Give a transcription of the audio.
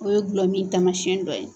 O ye gulɔmin taamasiyɛn dɔ ye.